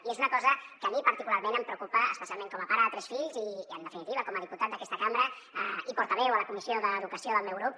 i és una cosa que a mi particularment em preocupa especialment com a pare de tres fills i en definitiva com a diputat d’aquesta cambra i portaveu a la comissió d’educació del meu grup